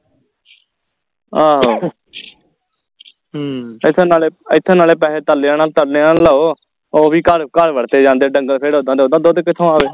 ਆਹੋ ਐਥੇ ਨਾਲੇ ਐਥੇ ਨਾਲੇ ਪੈਸੇ ਤਰਲਿਆਂ ਨਾਲ ਤਰਲਿਆਂ ਨਾਲ ਕਢਾਓ ਉਹ ਵੀ ਘਰ ਘਰ ਵਰਤੇ ਜਾਂਦੇ ਢੰਗਰ ਫੇਰ ਓਹਨਾ ਦਾ ਦੁੱਧ ਕਿਥੋਂ ਆਵੇ